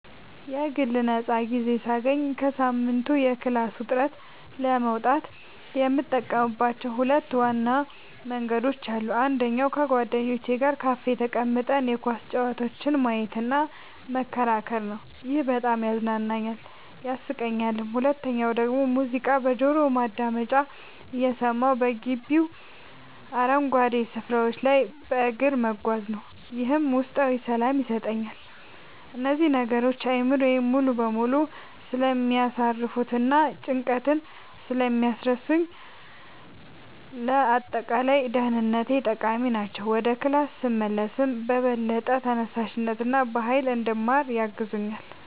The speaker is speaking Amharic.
የግል ነፃ ጊዜ ሳገኝ ከሳምንቱ የክላስ ውጥረት ለመውጣት የምጠቀምባቸው ሁለት ዋና መንገዶች አሉኝ። አንደኛው ከጓደኞቼ ጋር ካፌ ተቀምጠን የኳስ ጨዋታዎችን ማየትና መከራከር ነው፤ ይሄ በጣም ያዝናናኛል፣ ያሳቀኛልም። ሁለተኛው ደግሞ ሙዚቃ በጆሮ ማዳመጫ እየሰማሁ በግቢው አረንጓዴ ስፍራዎች ላይ በእግር መጓዝ ነው፤ ይህም ውስጣዊ ሰላም ይሰጠኛል። እነዚህ ነገሮች አእምሮዬን ሙሉ በሙሉ ስለሚያሳርፉትና ጭንቀትን ስለሚቀንሱልኝ ለአጠቃላይ ደህንነቴ ጠቃሚ ናቸው። ወደ ክላስ ስመለስም በበለጠ ተነሳሽነትና በሃይል እንድማር ያግዙኛል።